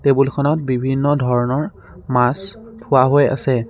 টেবুলখনত বিভিন্ন ধৰণৰ মাছ থোৱা হৈ আছে।